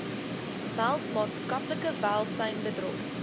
meld maatskaplike welsynsbedrog